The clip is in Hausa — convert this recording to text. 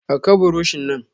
Dauka buroshi nan!